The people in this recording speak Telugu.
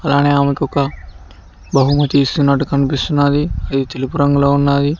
అలానే అమేకి ఒక బహుమతి ఇస్తున్నట్టు కనిపిస్తుంది ఇది తెలుపూ రంగులో ఉన్నాయి.